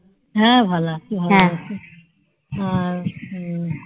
হ্যাঁ ভালো আছি